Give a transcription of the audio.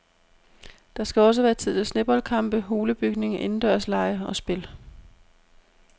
Der skal også være tid til sneboldkampe, hulebygning, indendørslege og spil.